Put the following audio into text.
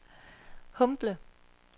Humble